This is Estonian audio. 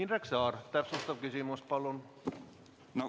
Indrek Saar, täpsustav küsimus palun!